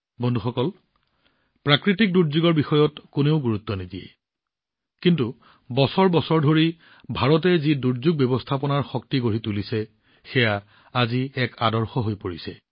বন্ধুসকল প্ৰাকৃতিক দুৰ্যোগৰ ওপৰত কোনেও গুৰুত্ব নিদিয়ে কিন্তু বছৰ বছৰ ধৰি ভাৰতে যি দুৰ্যোগ ব্যৱস্থাপনাৰ শক্তি গঢ়ি তুলিছে সেয়া আজি এক আদৰ্শ হৈ পৰিছে